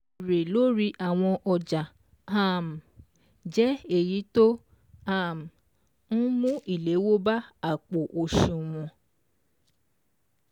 Èrè lórí àwọn ọjà um jẹ́ èyí tó um n mú ìléwó bá àpò òṣùwọ̀n.